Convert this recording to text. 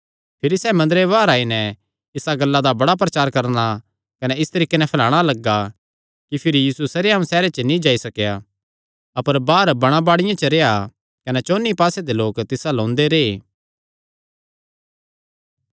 भिरी सैह़ मंदरे बाहर आई नैं इसा गल्ला दा बड़ा प्रचार करणा कने इस तरीके नैं फैलाणा लग्गा कि यीशु भिरी सरेआम सैहरे च नीं जाई सकेया अपर बाहर बणांबाड़ियां च रेह्आ कने चौंन्नी पास्से दे लोक तिस अल्ल ओंदे रैह्